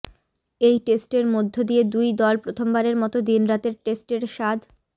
এই টেস্টের মধ্য দিয়ে দুই দল প্রথমবারের মতো দিনরাতের টেস্টের স্বাদ